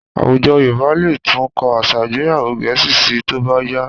Àwùjọ Yorùbá lè tún kọ́ àṣà ìgbéyàwò Gẹ̀ẹ́sì síi tó bá yá